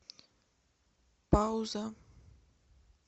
пауза